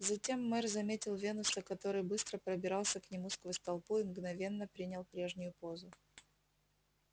затем мэр заметил венуса который быстро пробирался к нему сквозь толпу и мгновенно принял прежнюю позу